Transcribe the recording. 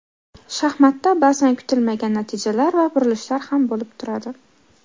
Shaxmatda ba’zan kutilmagan natijalar va burilishlar ham bo‘lib turadi.